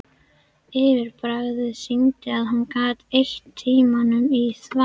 Yfirbragðið sýndi að hún gat eytt tímanum í þvaður.